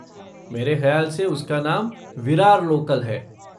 मेरे ख़याल से उसका नाम विरार लोकल है।